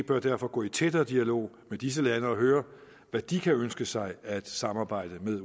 bør derfor gå i tættere dialog med disse lande og høre hvad de kan ønske sig af et samarbejde med